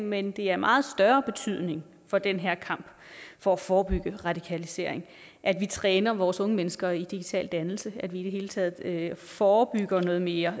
men det er af meget større betydning for den her kamp for at forebygge radikalisering at vi træner vores unge mennesker i digital dannelse at vi i det hele taget forebygger noget mere